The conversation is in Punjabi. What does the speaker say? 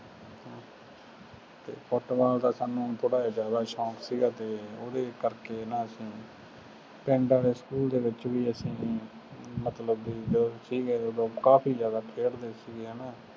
ਅਤੇ ਫੁੱਟਬਾਲ ਦਾ ਸਾਨੂੰ ਥੋੜ੍ਹਾ ਜਿਹਾ ਜ਼ਿਆਦਾ ਸ਼ੌਂਕ ਸੀਗਾ ਅਤੇ ਉਹਦੇ ਕਰਕੇ ਨਾ ਅਸੀ ਪਿੰਡ ਵਾਲੇ ਸਕੂਲ ਦੇ ਵਿੱਚ ਵੀ ਅਸੀਂ ਮਤਲਬ ਬਈ ਜਦੋਂ ਸੀਗੇ, ਉਦੋਂ ਕਾਫੀ ਜ਼ਿਆਦਾ ਖੇਡਦੇ ਸੀਗੇ, ਹੈ ਨਾ,